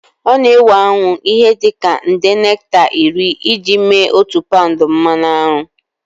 Ọ na-ewe aṅụ ihe dị ka nde nekta iri iji mee otu paụnd mmanụ aṅụ.